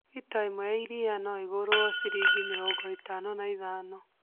Lita ĩmwe ya iria no ĩgũrwo ciringi mĩrongo ĩtano na ithano